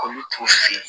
Olu t'u fe yen